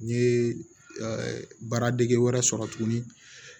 N ye baaradege wɛrɛ sɔrɔ tuguni